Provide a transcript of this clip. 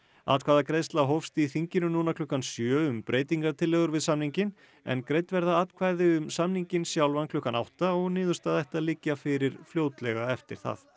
atkvæðagreiðsla hófst í þinginu núna klukkan sjö um breytingatillögur við samninginn en greidd verða atkvæði um samninginn sjálfan klukkan átta og niðurstaða ætti að liggja fyrir fljótlega eftir það